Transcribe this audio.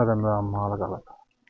Özümə də müəmmalı qalıb.